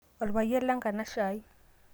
olpayian lenkanashe ai